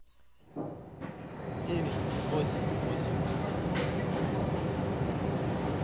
девять восемь восемь